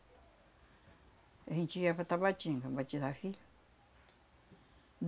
A gente ia para Tabatinga batizar filho.